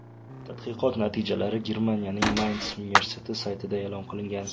Tadqiqot natijalari Germaniyaning Mayns universiteti saytida e’lon qilingan .